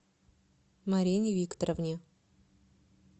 марине викторовне